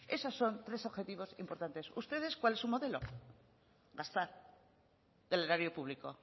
esos son tres objetivos importantes ustedes cuál es su modelo gastar del erario público